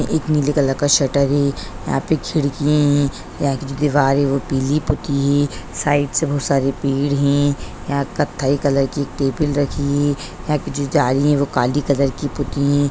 एक एक नीले कलर का शटर है यहाँ पे खिड़कियां है यहाँ की जो दीवारें है वो पीली पकी है साइड से बहोत सारे पेड़ है यहाँ कथाई कलर की टेबल रखी है यहाँ पे जो जा रही हैं वो काली कलर की